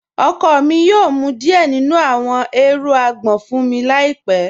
Ọkọ mi yoo mú díẹ̀ nínu àwọn èèrùn àgbọn fun mi láípẹ̀